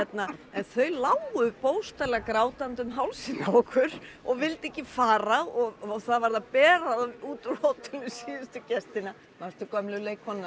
en þau lágu bókstaflega grátandi um hálsinn á okkur og vildu ekki fara það varð að bera þá út af hótelinu síðustu gestina manstu gömlu leikkonuna